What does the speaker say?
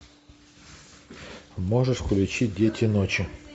можешь включить дети ночи